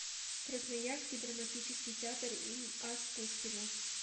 красноярский драматический театр им ас пушкина